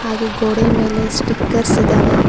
ಹಾಗೆ ಗೋಡೆ ಮೇಲೆ ಸ್ಟಿಕರ್ಸ್ ಇದವೆ.